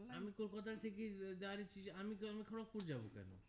আমি কলকাতা থেকে direct আমি তো আমি খড়্গপুর যাবো কেন